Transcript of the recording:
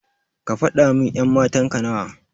Kafada min ƴan matanka nawa.